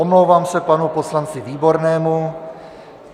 Omlouvám se panu poslanci Výbornému.